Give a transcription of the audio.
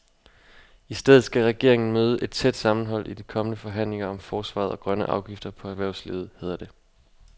I stedet skal regeringen møde et tæt sammenhold i de kommende forhandlinger om forsvaret og grønne afgifter på erhvervslivet, hedder det.